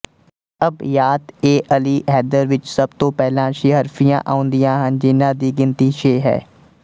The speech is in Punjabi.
ਅਬਯਾਤਏਅਲੀਹੈਦਰ ਵਿੱਚ ਸਭ ਤੋਂ ਪਹਿਲਾਂ ਸੀਹਰਫ਼ੀਆਂ ਆਉਂਦੀਆਂ ਹਨ ਜਿਹਨਾਂ ਦੀ ਗਿਣਤੀ ਛੇ ਹੈ